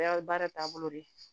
baara taabolo de ye